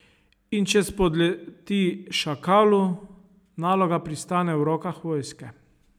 In če spodleti šakalu, naloga pristane v rokah vojske.